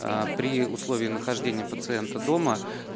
аа при условии нахождения пациента дома